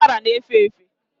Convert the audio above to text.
ụkwara na efefe